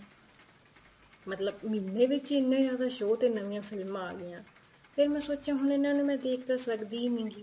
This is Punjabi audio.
ਮਤਲਬ ਮਹੀਨੇ ਵਿੱਚ ਹੀ ਇੰਨੇ ਜਿਆਦਾ show ਤੇ ਨਵੀਂ ਫਿਲਮਾਂ ਆ ਗਈਆਂ ਫ਼ੇਰ ਮੈਂ ਸੋਚਿਆਂ ਹੁਣ ਇਹਨਾ ਨੂੰ ਮੈਂ ਦੇਖ ਤਾਂ ਸਕਦੀ ਨੀਗੀ